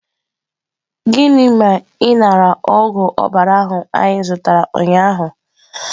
Gịnị ma ị nara ogwụ ọbara ahụ anyị zụtara ụnyahụ?